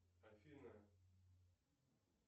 афина